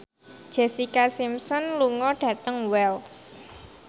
Jessica Simpson lunga dhateng Wells